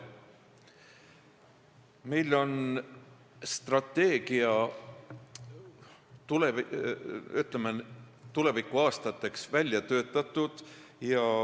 Meil on strateegia tulevikuaastateks välja töötatud.